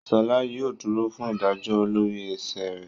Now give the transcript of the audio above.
Sola yóò dúrò fún ìdájọ lórí ẹṣẹ rẹ